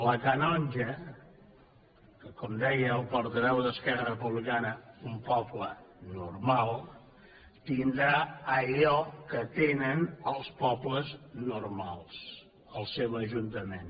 la canonja com deia el portaveu d’esquerra republicana un poble normal tindrà allò que tenen els pobles normals el seu ajuntament